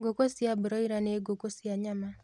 Ngũku cia broila nĩ ngũkũ cia nyama